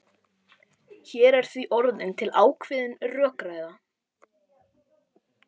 Hér er því orðin til ákveðin rökræða.